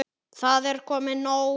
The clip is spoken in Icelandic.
Það er komið nóg.